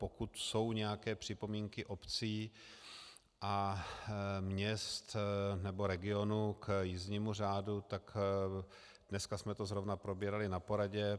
Pokud jsou nějaké připomínky obcí a měst nebo regionů k jízdnímu řádu, tak dneska jsme to zrovna probírali na poradě.